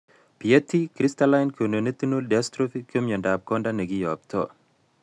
Bietti crystalline corneoretinal dystrophy ko myondab konda nekiyoptoi